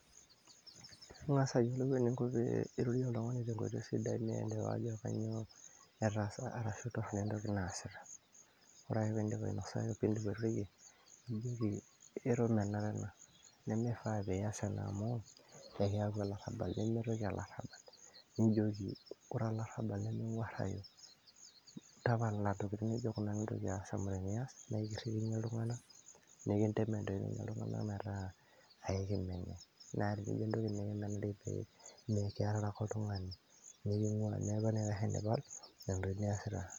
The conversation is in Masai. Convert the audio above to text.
ing'as ayiolou eninko pee irorie oltung'ani tenkoitoi sidai nielewa ajo kanyioo etaasa arashu torrono entoki naasita ore ake pindip ainosaki pindip airorie nijoki ero menare nemi faa piyas ena amu ekiyau olarrabal nemetoki olarrabal nijoki ore olarrabal nemeng'uarrayu, tapala intokitin nijo kuna mintoki aas amu teniyas naa ikirrikinyie iltung'anak nekintemen toi ninye iltung'anak metaa aikimeni naa tinijio entoki nikimenari pee mekiarare ake oltung'ani neking'ua neeku enaikash enipal nena tokitin niasita.